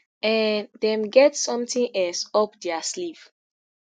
um dem get sometin else up dia sleeve